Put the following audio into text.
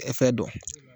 fɛn dɔn